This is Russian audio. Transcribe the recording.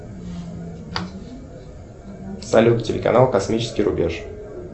салют телеканал космический рубеж